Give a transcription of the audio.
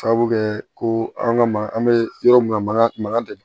Sababu kɛ ko an ka ma an bɛ yɔrɔ min na maga magadun